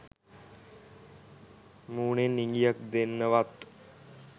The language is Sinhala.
මූණෙන් ඉඟියක් දෙන්නවත්